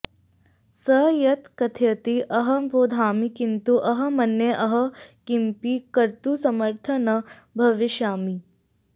सः यत् कथयति अहं बोधामि किन्तु अहं मन्ये अहं किमपि कर्तुं समर्थः न भविष्यामि